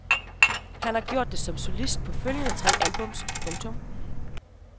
Han har gjort det som solist på foreløbig tre albums. punktum